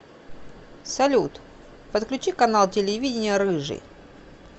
салют подключи канал телевидения рыжий